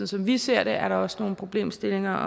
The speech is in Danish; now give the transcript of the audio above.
som vi ser det er der også nogle problemstillinger